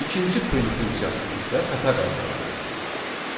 İkinci print funksiyası isə xəta qaytardı.